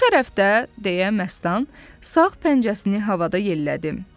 deyə Məstan, sağ pəncəsini havada yellədim.